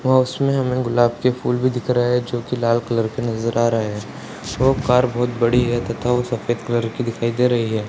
व उसमें हमें गुलाब के फूल भी दिख रहे हैं जो की लाल कलर की नजर आ रहे हैं वो कार बहुत बड़ी है तथा वो सफेद कलर की दिखाई दे रही है।